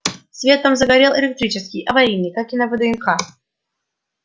свет там загорел электрический аварийный как и на вднх